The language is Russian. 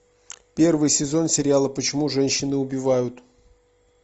первый сезон сериала почему женщины убивают